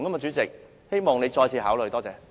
主席，希望你再次考慮。